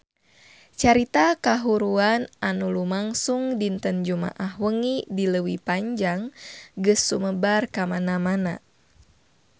Carita kahuruan anu lumangsung dinten Jumaah wengi di Leuwi Panjang geus sumebar kamana-mana